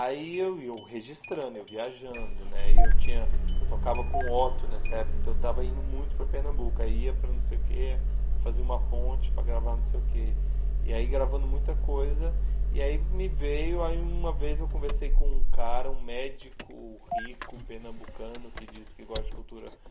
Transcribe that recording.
Aí eu e eu registrando, eu viajando né, e eu tinha eu tocava com o Otto nessa época, então eu estava indo muito para Pernambuco, aí ia para não sei o que, fazer uma ponte para gravar não sei o que, e aí gravando muita coisa, e aí me veio, aí uma vez eu conversei com um cara, um médico rico pernambucano que diz que gosta de cultura